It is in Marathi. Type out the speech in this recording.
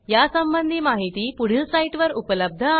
या संबंधी माहिती पुढील साईटवर उपलब्ध आहे